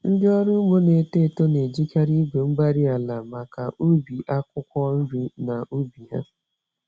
Ndị ọrụ ugbo na-eto eto n'eji karị igwe-mgbárí-ala maka ubi akwụkwọ nri na ubi ha.